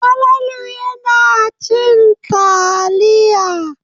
Falalu yana cin taliya.